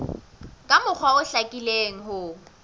ka mokgwa o hlakileng ho